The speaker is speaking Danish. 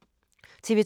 TV 2